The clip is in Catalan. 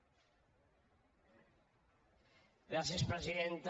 gràcies presidenta